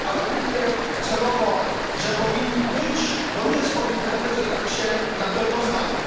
Mówię celowo, że powinni być, bo nie jest powiedziane, że tak się na pewno stanie.